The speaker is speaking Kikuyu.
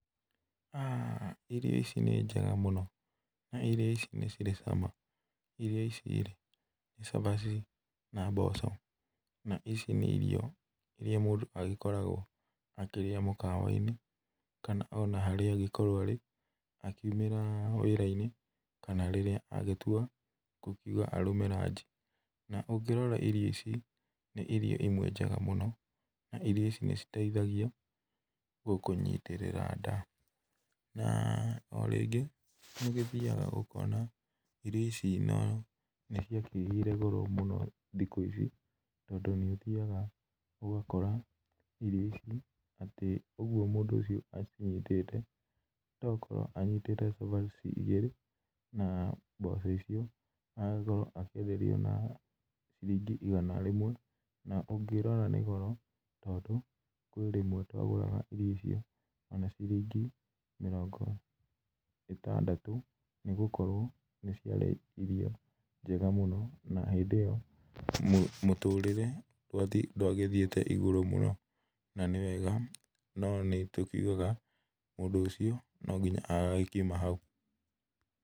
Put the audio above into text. Aah, irio ici nĩ njega mũno, na irio ici nĩ cirĩ cama. Irio ici-rĩ nĩ cabaci na mboco, na ici nĩ irio iria mũndũ agĩkoragwo akĩrĩa mũkawa-inĩ kana ona harĩa agĩkorwo arĩ, akiumĩra wĩra-inĩ kana rĩrĩa agĩtua gũkiuga arũme ranji, na ũngĩrora irio ici, nĩ irio imwe njega mũno, na irio ici nĩciteithagia gũkũnyitĩrĩra nda. Na, o rĩngĩ nĩũgĩthiaga ũkona irio ici nĩciakĩgĩire goro mũno thikũ ici, tondũ nĩũgĩthiaga ũgakora irio ici atĩ ũguo mũndũ ũcio acinyitĩte to gũkorwo anyitĩte cabaci igĩrĩ naa mboco icio na akorwo akĩenderio na ciringi igana rĩmwe, na ũngĩrora nĩ goro, tondũ kwĩ rĩmwe twagũraga irio icio ona ciringi mĩrongo ĩtandatũ, nĩgũkorwo nĩ ciarĩ irio njega mũno na hĩndĩ ĩyo mũtũrĩre ndwagĩthiĩte igũrũ mũno na nĩ wega no nĩtũkiugaga mũndũ ũcio no nginya agakiuma hau.